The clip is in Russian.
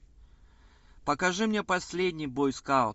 покажи мне последний бойскаут